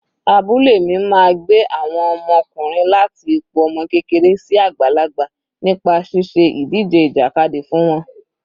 Abúlé mi máa gbé àwọn ọmọkùnrin láti ipò ọmọ kékeré sí àgbàlagbà nípa ṣíṣe ìdíje ìjàkadì fún wọn.